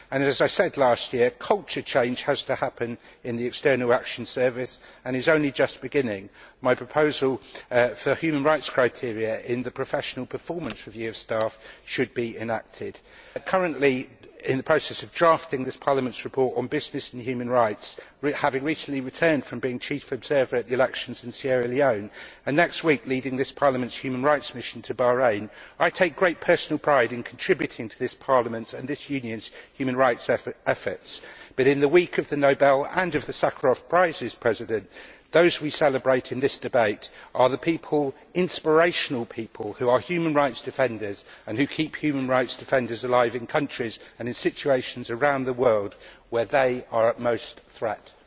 As I said last year, culture change has to happen in the External Action Service, and this is only just beginning. My proposal for human rights criteria in the professional performance review of staff should be enacted. Currently in the process of drafting this Parliament's report on business and human rights, having recently returned from being Chief Observer at the elections in Sierra Leone and next week leading this Parliament's human rights mission to Bahrain, I take great personal pride in contributing to this Parliament's and this Union's human rights efforts. But in the week of the Nobel and of the Sakharov Prizes, President, those we celebrate in this debate are the people inspirational people who are human rights defenders and who keep human rights defenders alive in countries and in situations around the world where they are in greatest danger.